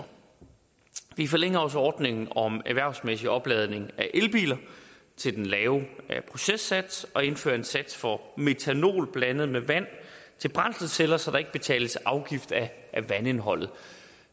vi forlænger også ordningen om erhvervsmæssig opladning af elbiler til den lave processats og vi indfører en sats for metanol blandet med vand til brændselsceller så der ikke betales afgift af vandindholdet